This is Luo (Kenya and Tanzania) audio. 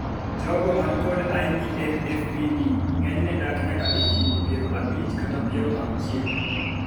jogo man kod IBMFPD ng'enyne dak nyaka e higni piero abich kata piero auchiel